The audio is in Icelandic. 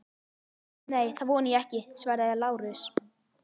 Nei, það vona ég ekki, svaraði Lárus.